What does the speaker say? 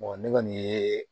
ne kɔni ye